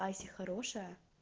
а если хорошая